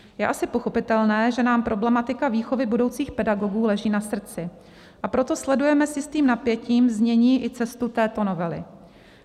Je asi pochopitelné, že nám problematika výchovy budoucích pedagogů leží na srdci, a proto sledujeme s jistým napětím znění i cestu této novely.